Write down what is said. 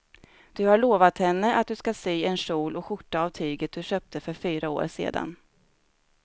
Du har lovat henne att du ska sy en kjol och skjorta av tyget du köpte för fyra år sedan.